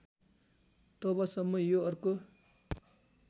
तबसम्म यो अर्को